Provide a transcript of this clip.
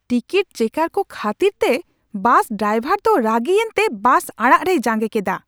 Ticket checker ᱠᱚ ᱠᱷᱟᱹᱛᱤᱨ ᱛᱮ ᱵᱟᱥ ᱰᱨᱟᱭᱵᱷᱟᱨ ᱫᱚ ᱨᱟᱹᱜᱤ ᱮᱱᱛᱮ ᱵᱟᱥ ᱟᱲᱟᱜ ᱨᱮᱭ ᱡᱟᱸᱜᱮ ᱠᱮᱫᱟ ᱾